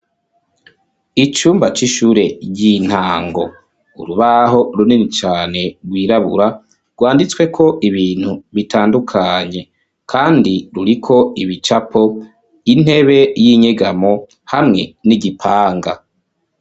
Icumba c'ishure ry'intango. Urubaho runini cane rwirabura rwaditsweko ibintu bitandukanye, kandi ruriko ibicapo, intebe y'inyegamo hamwe n'igipanga.